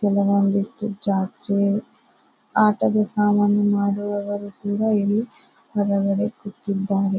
ಕೆಲ ಒಂದಿಷ್ಟು ಜಾತ್ರೆ ಆಟದ ಸಾಮಾನು ಮಾರುವವರು ಕೂಡ ಇಲ್ಲಿ ಮನೆ ಮೇಲೆ ಕೂತಿದ್ದಾರೆ.